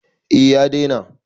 A ya daina